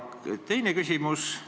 Kolmas küsimus või teema.